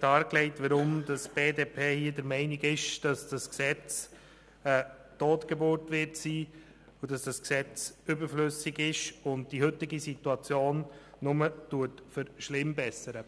dargelegt, weshalb die BDP hier der Meinung ist, dass dieses Gesetz eine Totgeburt sein wird, weshalb es überflüssig ist und die heutige Situation nur verschlimmbessert.